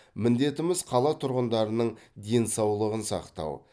міндетіміз қала тұрғындарының денсаулығын сақтау